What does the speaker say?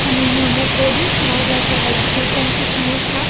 અને અહિયા અમુક હાર્ડિંગ્સ મારેલા છે લાઈક જી ટ્વેન્ટી સમિટ ના.